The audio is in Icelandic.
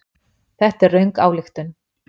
Þetta er röng ályktun.